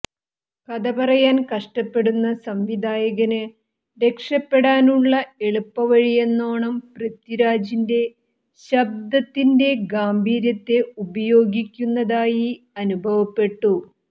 കഥ പറയാൻ കഷ്ടപ്പെടുന്ന സംവിധായകന് രക്ഷപ്പെടാനുള്ള എളുപ്പവഴിയെന്നോണം പൃഥ്വിരാജിൻ്റെ ശബ്ദത്തിന്റെ ഗാംഭീര്യത്തെ ഉപയോഗിക്കുന്നതായി അനുഭവപ്പെട്ടു